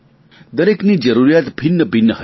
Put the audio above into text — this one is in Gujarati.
દરેકની જરૂરિયાત ભિન્નભિન્ન હશે